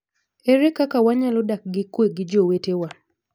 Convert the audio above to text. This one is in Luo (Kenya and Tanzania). Ere kaka wanyalo dak gi kue gi jo wetewa?